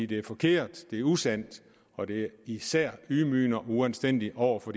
det er forkert det er usandt og det er især ydmygende og uanstændigt over for